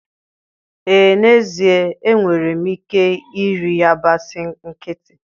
Ee n'ezie, enwere m ike iri yabasị nkịtị.